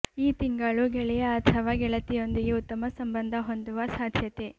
ಈ ತಿಂಗಳು ಗೆಳೆಯ ಅಥವಾ ಗೆಳತಿಯೊಂದಿಗೆ ಉತ್ತಮ ಸಂಬಂಧ ಹೊಂದುವ ಸಾಧ್ಯತೆ